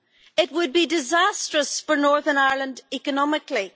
It would be disastrous for Northern Ireland economically.